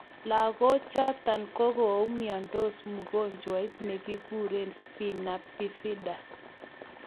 Lagochoto kokumiandos mugonjwet ne kikure Spina Bifida